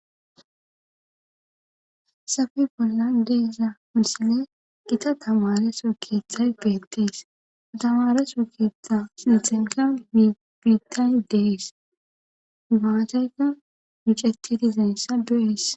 Safi bolla deesa munsile qita tamaare so keeththay beettees atamare so keethta lixenka mibiitay dees maateyka micetti dizaynsa du7es